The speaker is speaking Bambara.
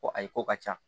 Ko ayi ko ka ca